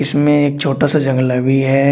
इसमें एक छोटा सा जंगला भी है।